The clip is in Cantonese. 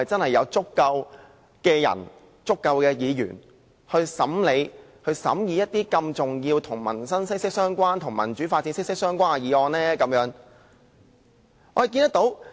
是否真的有足夠人手和議員審議一些與民生和民主發展息息相關的重要議案呢？